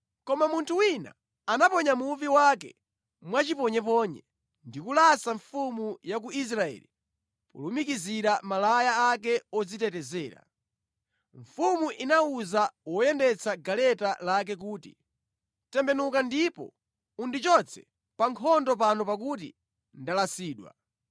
Koma munthu wina anaponya muvi wake mwachiponyeponye ndi kulasa mfumu ya ku Israeli polumikizira malaya ake odzitetezera. Mfumu inawuza woyendetsa galeta lake kuti, “Tembenuka ndipo undichotse pa nkhondo pano pakuti ndalasidwa.”